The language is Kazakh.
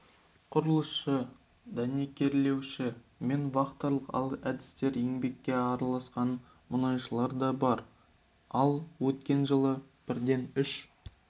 құрылысшы дәнекерлеуші мен вахталық әдіспен еңбекке араласқан мұнайшылар да бар ал өткен жылы бірден үш